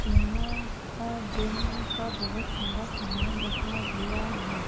यहाँ अ जिमका बहुत सारा सामान रखा हुआ है।